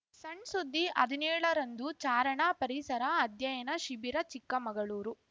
ಸಣ್‌ ಸುದ್ದಿ ಹದಿನೇಳ ರಂದು ಚಾರಣ ಪರಿಸರ ಅಧ್ಯಯನ ಶಿಬಿರ ಚಿಕ್ಕಮಗಳೂರು